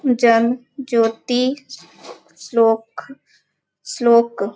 जन जोती श्लोक श्लोक --